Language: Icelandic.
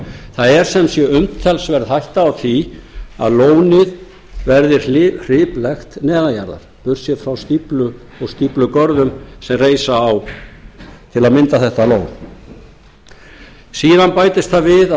það er sem sé umtalsverð hætta á því að lónið verði hriplekt neðan jarðar burtséð frá stíflum og stíflugörðum sem reisa á til að mynda þetta lón síðan bætist það við að